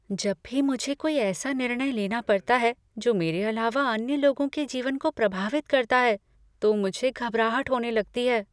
जब भी मुझे कोई ऐसा निर्णय लेना पड़ता है जो मेरे अलावा अन्य लोगों के जीवन को प्रभावित करता है तो मुझे घबराहट होने लगती है।